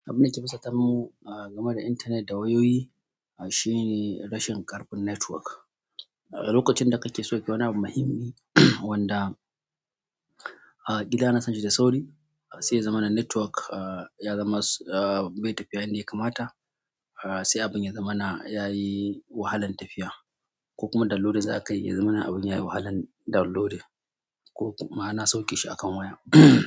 Abinda ke fusata mu game da internet da wayoyi shine rashin ƙarfin network. Lokacin da kake sauke wani abu muhimmi wanda a gida anasan shi da sauri, sai zamanin network ya zama bai tafiya yadda ya kamata, sai abin ya zamana ya yi wahalan tafiya ko kuma download zaka yi, ya zamana abin ya yi wahalan downloading ko kuma ana sauke shi akan waya.